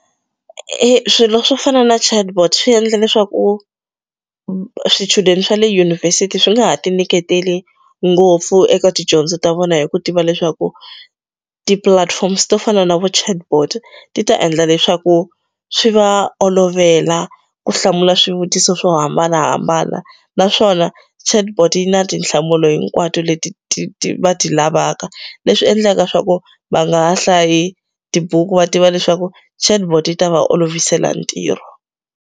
I swilo swo fana na chatbot swi endla leswaku swichudeni swa le yunivhesiti swi nga ha ti nyiketeli ngopfu eka tidyondzo ta vona hi ku tiva leswaku ti platforms to fana na vo chatbot ti ta endla leswaku swi va olovela ku hlamula swivutiso swo hambanahambana naswona chatbot yi na tinhlamulo hinkwato leti ti va ti lavaka leswi endlaka swa ku va nga hlayi tibuku va tiva leswaku chatbot yi ta va olovisela ntirho.